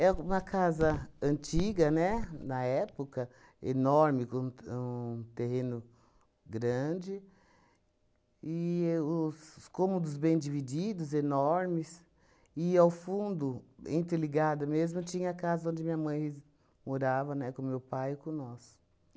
É uma casa antiga, né, na época, enorme, com um t um terreno grande, e os os cômodos bem divididos, enormes, e ao fundo, interligada mesmo, tinha a casa onde minha mãe morava, né, com meu pai e com nós.